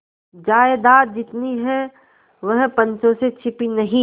जायदाद जितनी है वह पंचों से छिपी नहीं